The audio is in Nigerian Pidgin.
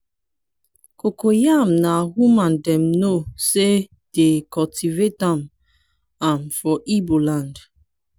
cocoyam na woman dem know say de cultivate am am for igbo land.